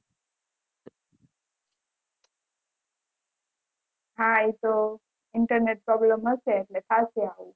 હા એ તો internet problem હશે એટલે થાશે